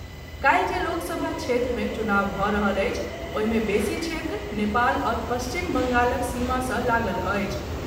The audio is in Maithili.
काल्हि जे लोक सभा क्षेत्र मे चुनाव भऽ रहल अछि ओहि मे बेसी क्षेत्र नेपाल आओर पश्चिम बंगालक सीमा सॅ लागल अछि।